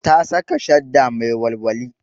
Ta saka shadda mai walwali